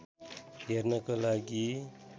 हेर्नको लागि